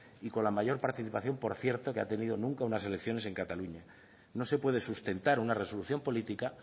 y con la mayor participación que ha tenido unas elecciones en cataluña no se puede sustentar una resolución política